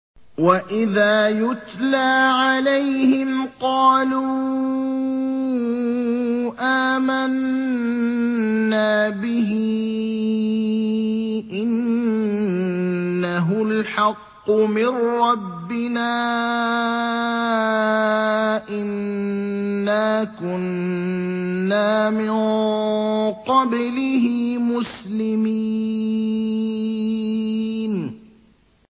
وَإِذَا يُتْلَىٰ عَلَيْهِمْ قَالُوا آمَنَّا بِهِ إِنَّهُ الْحَقُّ مِن رَّبِّنَا إِنَّا كُنَّا مِن قَبْلِهِ مُسْلِمِينَ